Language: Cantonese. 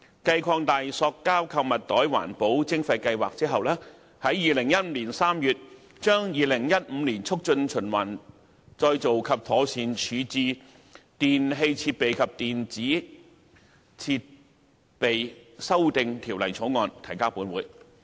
繼擴大塑膠購物袋環保徵費計劃後，當局於2015年3月將《2015年促進循環再造及妥善處置條例草案》提交本會。